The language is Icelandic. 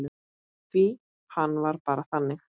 Því hann var bara þannig.